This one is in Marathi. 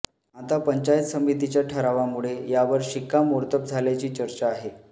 आता पंचायत समितीच्या ठरावामुळे यावर शिक्कामोर्तब झाल्याची चर्चा आहे